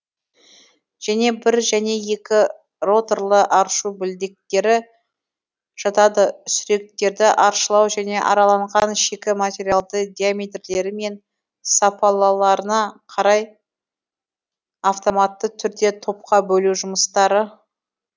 және бір және екі роторлы аршу білдектері жатады сүректерді аршылау және араланған шикі материалды диаметрлері мен сапаларына қарай автоматты түрде топқа бөлу жұмыстары